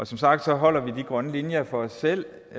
som sagt holder vi de grønne linjer for os selv